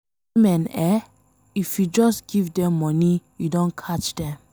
Women eh! If you just give dem money, you don catch dem.